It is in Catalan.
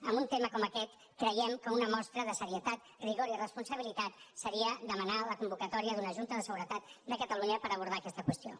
en un tema com aquest creiem que una mostra de seriositat rigor i responsabilitat seria demanar la convocatòria d’una junta de seguretat de catalunya per abordar aquesta qüestió